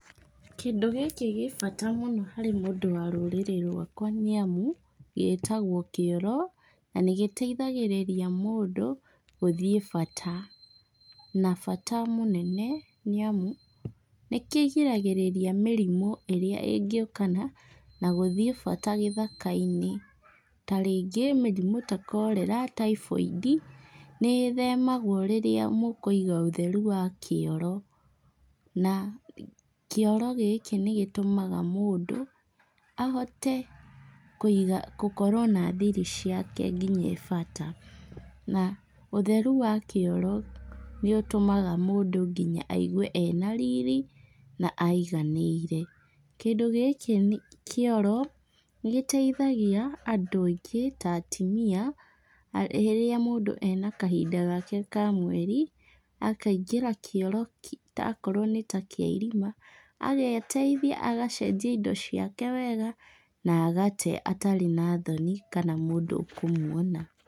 Kĩndũ gĩkĩ gĩ bata mũno harĩ mũndũ wa rũrĩrĩ rwakwa nĩ amu, gĩĩtagwo kĩoro. Na nĩ gĩteithagĩrĩria mũndũ gũthiĩ bata, na bata mũnene nĩ amu, nĩ kĩgiragĩrĩria mĩrimũ ĩrĩa ĩngĩũkana na gũthiĩ bata gĩthaka-inĩ. Ta rĩngĩ mĩrimũ ta Cholera, Typhoidi, nĩ ĩthemagwo rĩrĩa mũkũiga ũtheru wa kĩoro. Na kĩoro gĩkĩ nĩ gĩtũmaga mũndũ ahote kũiga- kũkorwo na thiri ciake nginya e bata. Na ũtheru wa kĩoro nĩ ũtũmaga mũndũ nginya aigue ena riri, na aiganĩire. Kĩndũ gĩkĩ, kĩoro, nĩ gĩteithagia andũ aingĩ ta atimia rĩrĩa mũndũ ena kahinda gake ka mweri, akaingĩra kĩoro, ta okorwo nĩ ta kĩarima, ageeteithia agacenjia indo ciake wega na agate atarĩ na thoni kana mũndũ ũkũmwona.